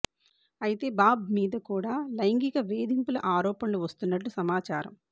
అయితే బాబ్ మీద కూడా లైంగిక వేధింపుల ఆరోపణలు వస్తున్నట్లు సమాచారం